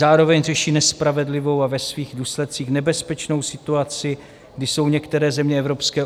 Zároveň řeší nespravedlivou a ve svých důsledcích nebezpečnou situaci, kdy jsou některé země Evropské